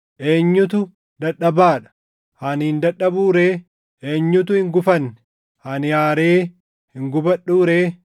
Eenyutu dadhabaa dha? Ani hin dadhabuu ree? Eenyutu hin gufanne? Ani aaree hin gubadhuu ree?